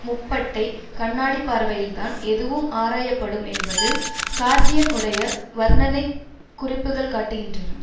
முப்பட்டைக் கண்ணாடி பார்வையில்தான் எதுவும் ஆராய படும் என்பது கார்டியன் உடைய வர்ணனைக் குறிப்புக்கள் காட்டுகின்றன